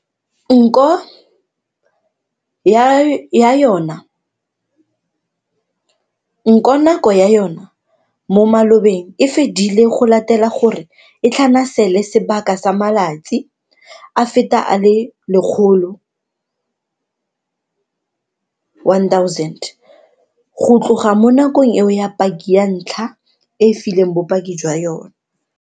Nko nako ya yona mo malobeng e fedile go latela gore e tlhanasele sebaka sa matsatsi a feta a le 1 000 go tloga mo nakong eo paki ya ntlha e fileng bopaki jwa yona.